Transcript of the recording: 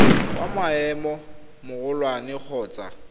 wa maemo a magolwane kgotsa